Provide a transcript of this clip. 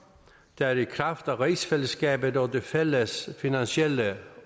der i kraft af rigsfællesskabet og det fælles finansielle